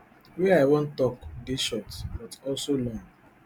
wey i wan tok dey short but also long